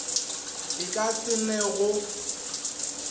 e ka se ne go